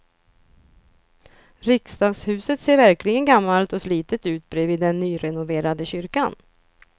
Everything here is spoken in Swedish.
Riksdagshuset ser verkligen gammalt och slitet ut bredvid den nyrenoverade kyrkan.